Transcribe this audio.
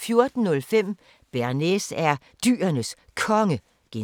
14:05: Bearnaise er Dyrenes Konge (G)